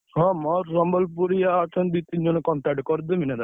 ହଁ ମୋର ସମ୍ବଲପୁରିଆ ଅଛନ୍ତି, ଦି ତିନି ଜଣ contact ରେ କରିଦେବି ନା!